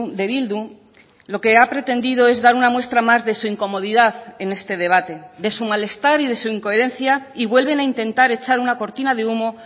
de bildu lo que ha pretendido es dar una muestra más de su incomodidad en este debate de su malestar y de su incoherencia y vuelven a intentar echar una cortina de humo